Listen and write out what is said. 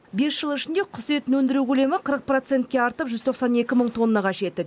бес жыл ішінде құс етін өндіру көлемі қырық процентке артып жүз тоқсан екі мың тоннаға жетті